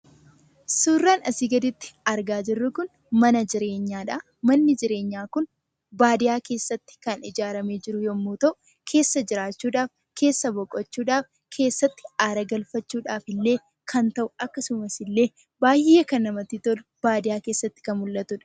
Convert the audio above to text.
Suuraan asii gaditti argaa jirru kun mana jireenyaadha. Manni jireenyaa kun baadiyyaa keessatti kan ijaarame yommuu ta'u, keessa jiraachuudhaaf, keessa buluudhaaf , keessatti aara galfachuudhaaf illee kan ta'u akkasumas baay'ee kan bareedu baadiyyaa keessatti kan argamudha.